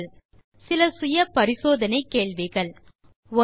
தீர்வு காண சில செல்ஃப் அசெஸ்மென்ட் கேள்விகள் 1